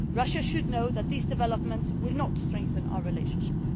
Russia should know that these developments will not strengthen our relationship.